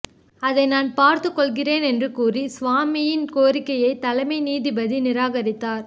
அதை நான் பார்த்துக் கொள்கிறேன் என்று கூறி சுவாமியின் கோரிக்கையை தலைமை நீதிபதி தத்து நிராகரித்தார்